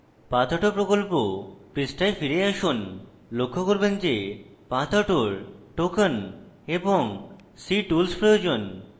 pathauto প্রকল্প পৃষ্ঠায় ফিরে আসুন লক্ষ্য করবেন যে pathauto এর token এবং ctools এর প্রয়োজন